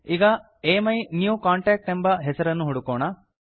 ಈಗ ಅಮಿನ್ಯೂಕಾಂಟ್ಯಾಕ್ಟ್ ಎಂಬ ಹೆಸರನ್ನು ಹುಡುಕೋಣ